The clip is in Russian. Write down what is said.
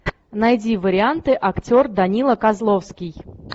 найди варианты актер данила козловский